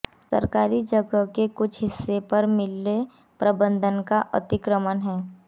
सरकारी जगह के कुछ हिस्से पर मिल प्रबंधन का अतिक्रमण है